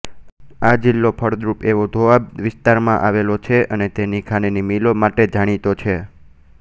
આ જિલ્લો ફળદ્રુપ એવા દોઆબ વિસ્તારમાં આવેલો છે અને તેની ખાંડની મિલો માટે જાણીતો છે